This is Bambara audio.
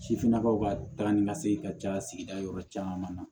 Sifinnakaw ka taa ni ka segin ka ca sigida yɔrɔ caman na